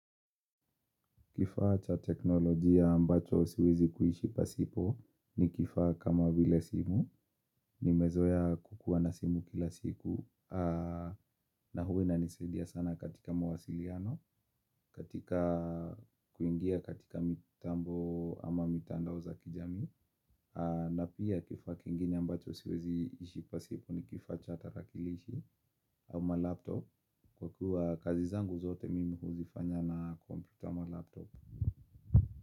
Kifaa cha teknolojia ambacho siwezi kuishi pasipo ni kifaa kama vile simu, nimezoea kukuwa na simu kila siku, na huwa inanisaidia sana katika mawasiliano, katika kuingia katika mitambo ama mitandao za kijamii, na pia kifaa kingine ambacho siwezi ishi pasipo ni kifaa cha tarakilishi ama laptop, kwa kuwa kazi zangu zote mimi huzifanya na kompyuta ama laptop.